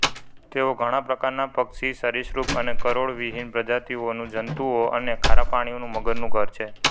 તે ઘણા પ્રકારના પક્ષી સરીસૃપ અને કરોડવિહીન પ્રજાતિઓનુંજંતુઓ અને ખારા પાણીના મગરનું ઘર છે